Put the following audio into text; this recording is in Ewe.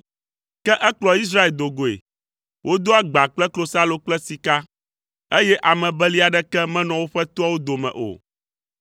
Ke ekplɔ Israel do goe, wodo agba kple klosalo kple sika, eye ame beli aɖeke menɔ woƒe toawo dome o.